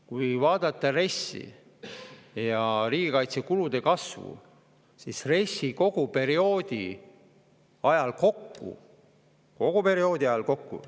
Kui vaadata RES‑i ja riigikaitsekulude kasvu, siis kogu RES‑i perioodi ajal kokku – kogu perioodi ajal kokku!